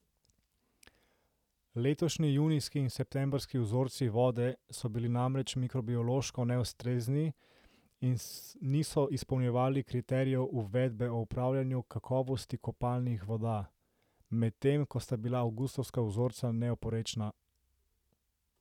Letošnji junijski in septembrski vzorci vode so bili namreč mikrobiološko neustrezni in niso izpolnjevali kriterijev uredbe o upravljanju kakovosti kopalnih voda, medtem ko sta bila avgustovska vzorca neoporečna.